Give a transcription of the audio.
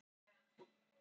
Sýður í hjartanu.